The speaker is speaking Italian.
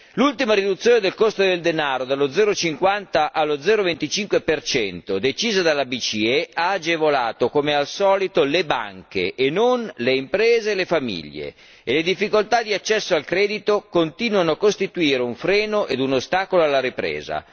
L'ultima riduzione del costo del denaro dallo 0,50 allo 0,25 percento decisa dalla BCE ha agevolato, come al solito, le banche e non le imprese e le famiglie, e le difficoltà di accesso al credito continuano a costituire un freno e un ostacolo alla ripresa.